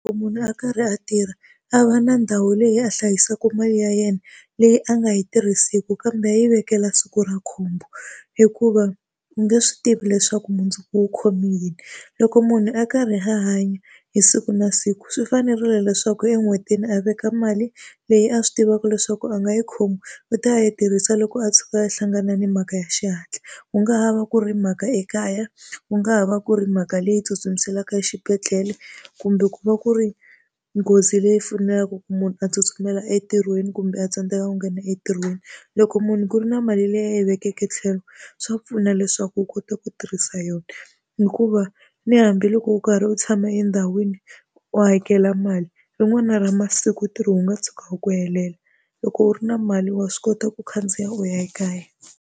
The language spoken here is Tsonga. munhu a karhi a tirha a va na ndhawu leyi a hlayisaka mali ya yena leyi a nga yi tirhiseki, kambe yi vekela siku ra khombo. Hikuva u nge swi tivi leswaku mundzuku u khome yini. Loko munhu a karhi a hanya hi siku na siku swi fanerile leswaku en'hwetini a veka mali leyi a swi tivaka leswaku a nga yi khomi u ta yi tirhisa loko a tshuka a hlangane na mhaka ya xihatla. Ku nga ha va ku ri mhaka ekaya, ku nga ha va ku ri mhaka leyi tsutsumiselaka exibedhlele, kumbe ku va ku ri nghozi leyi fanelaka ku munhu a tsutsumela entirhweni, kumbe a tsandzeka ku nghena entirhweni. Loko munhu ku ri na mali leyi a yi vekeke tlhelo swa pfuna leswaku u kota ku tirhisa yona. Hikuva ni hambiloko u karhi u tshama endhawini u hakela mali, rin'wana ra masiku ntirho wu nga tshuka wu ku helela, loko u ri na mali wa swi kota ku khandziya u ya ekaya.